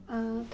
Ah